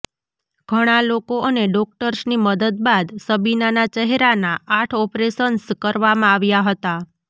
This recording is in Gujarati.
ઘણા લોકો અને ડોક્ટર્સની મદદ બાદ શબીનાના ચહેરાનાં આઠ ઓપરેશન્સ કરવામાં આવ્યાં હતાં